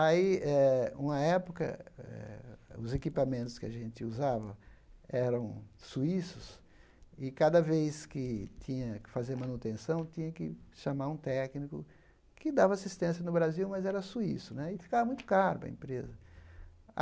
Aí eh, uma época eh, os equipamentos que a gente usava eram suíços, e cada vez que tinha que fazer manutenção, tinha que chamar um técnico que dava assistência no Brasil, mas era suíço né, e ficava muito caro para a empresa.